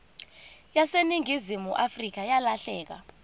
yaseningizimu afrika yalahleka